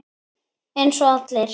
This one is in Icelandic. Eins og allir.